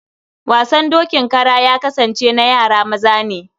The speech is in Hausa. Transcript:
Wasan dokin kara ya kasance na yara maza ne.